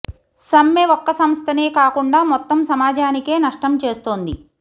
సమ్మె ఒక్క సంస్థనే కాకుండా మొత్తం సమాజానికే నష్టం చేస్తోంది